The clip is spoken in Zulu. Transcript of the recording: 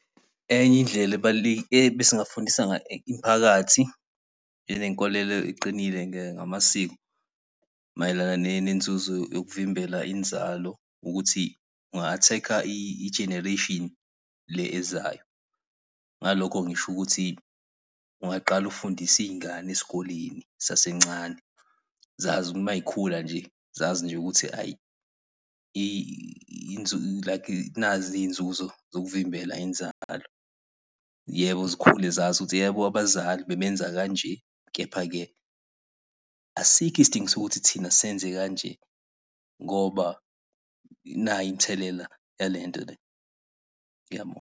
Enye indlela ebesingafundisa ngayo imphakathi, ilenkolelo eqinile ngamasiko. Mayelana nenzuzo yokuvimbela inzalo, ukuthi unga-attack-a igeneration le ezayo. Ngalokho ngisho ukuthi ungaqala ukufundise iy'ngane esikoleni zisasencane, zazi ukuthi mayikhula nje, zazi nje ukuthi ayi like nazi iy'nzuzo zokuvimbela inzalo. Yebo zikhule zazi ukuthi yebo abazali bebenza kanje, kepha-ke asikho isidingo sokuthi thina senze kanje, ngoba nayi imithelela yalento le. Ngiyabonga.